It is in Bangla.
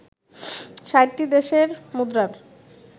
৬০টি দেশের মুদ্রার